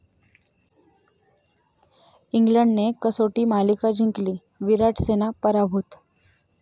इंग्लंडने कसोटी मालिका जिंकली, 'विराट सेना' पराभूत